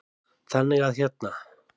Þannig að hérna.